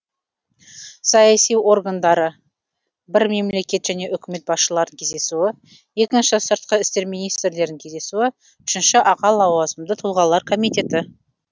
саяси органдары бір мемлекет және үкімет басшыларының кездесуі екіншіден сыртқы істер министрлерінің кездесуі үшіншіден аға лауазымды тұлғалар комитеті